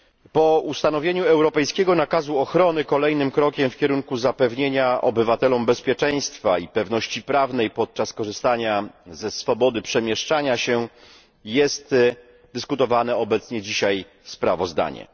Po ustanowieniu europejskiego nakazu ochrony kolejnym krokiem w kierunku zapewnienia obywatelom bezpieczeństwa i pewności prawnej podczas korzystania ze swobody przemieszczania się jest omawiane dzisiaj sprawozdanie.